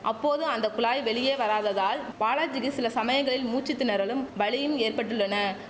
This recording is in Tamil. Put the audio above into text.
அப்போது அந்த குழாய் வெளியே வராததால் பாலாஜிக்கு சில சமயங்களில் மூச்சு திணறலும் வலியும் ஏற்பட்டுள்ளன